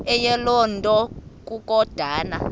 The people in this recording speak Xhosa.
eyiloo nto kukodana